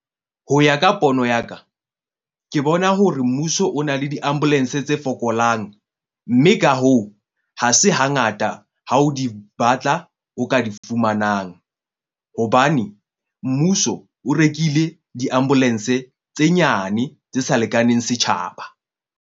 Ho ya ka pono ya ka, ke bona hore mmuso o na le di-ambulance tse fokolang, mme ka hoo, ha se hangata ha o di batla, o ka di fumanang. Hobane mmuso o rekile di-ambulance tse nyane tse sa lekaneng setjhaba.